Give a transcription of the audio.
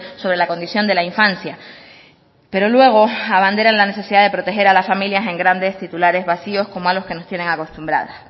sobre la condición de la infancia pero luego abandera en la necesidad de proteger a la familia en grandes titulares vacios como algo que nos tiene acostumbrada